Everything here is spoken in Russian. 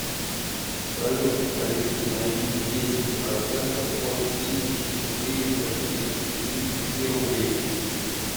салют алиса найди десять процентов от тысячи четыреста тридцати пяти рублей